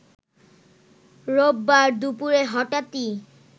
রোববার দুপুরে হঠাৎই